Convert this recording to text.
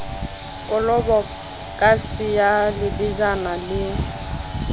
kolobo kase ya lebejana le